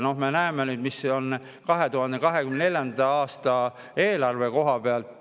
Me näeme nüüd, mis toimub 2024. aasta eelarve koha pealt.